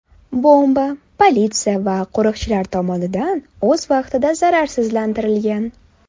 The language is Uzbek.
Bomba politsiya va qo‘riqchilar tomonidan o‘z vaqtida zararsizlantirilgan.